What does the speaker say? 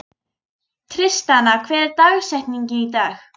Tristana, hver er dagsetningin í dag?